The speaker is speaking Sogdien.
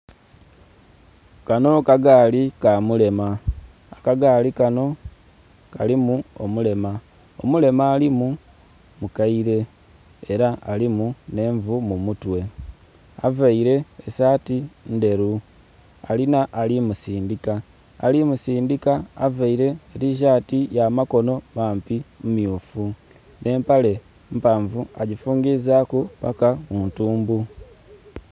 Kanho kagaali ka mulema. Akagaali kanho kalimu omulema. Omulema alimu mukaile ela alimu nhenvu mu mutwe, availe esaati ndheru, alinha ali musindhika. Ali musindhika availe tishati ya makonho mampi, mmyufu, nh'empale mpanvu agifungizaaku paka muntumbu.